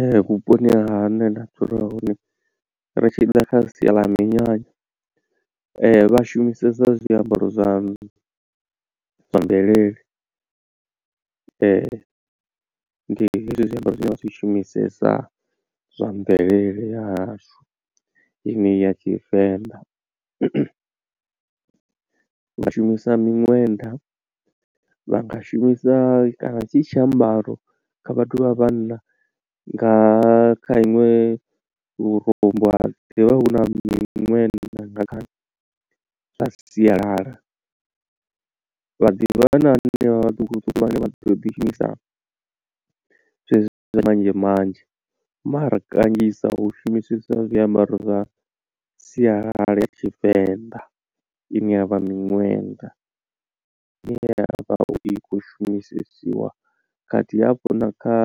Ee vhuponi hune nda dzula hone ri tshi ḓa kha sia ḽa minyanya vha shumisesa zwiambaro zwa mvelele ndi hezwi zwiambaro zwine vha zwi shumisesa zwa mvelele ya hashu enei ya tshivenḓa. Vha shumisa miṅwenda vha nga shumisa kana tshi tshiambaro kha vhathu vha vhanna nga kha iṅwe lurumbu ha ḓivha hu na miṅwenda nga zwa sialala. Haḓivhi na hanevha vhaṱuku ṱuku vhane vha ḓo ḓi shumisa zwezwo zwa tshi manzhe manzhe mara kanzhisa hu shumisesiwa zwiambaro zwa sialala ya tshivenḓa ine yavha miṅwenda ine ya vha i kho shumisesiwa khathihi hafhu na kha